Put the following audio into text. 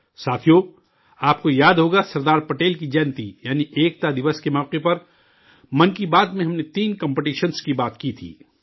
ساتھیو، آپ کو یاد ہوگا سردار پٹیل کی جینتی یعنی 'ایکتا دیوس' کے موقع پر 'من کی بات' میں ہم نے تین کمپٹیشنز کی بات کی تھی